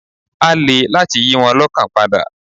Á le láti yí wọn lọ́kàn padà.